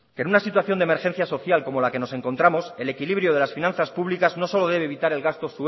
que en una situación de emergencia social como la que nos encontramos el equilibrio de las finanzas públicas no solo debe evitar el gasto